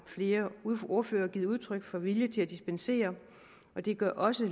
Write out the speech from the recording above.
flere ordførere givet udtryk for vilje til at dispensere og det gør også